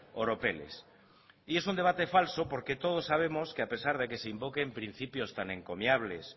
oropeles y es un debate falso porque todos sabemos que a pesar de que se invoquen principios tan encomiables